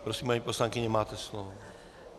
Prosím, paní poslankyně, máte slovo.